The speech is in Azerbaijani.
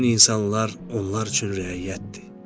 Bütün insanlar onlar üçün rəiyyətdir.